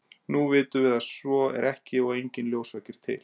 nú vitum við að svo er ekki og að enginn ljósvaki er til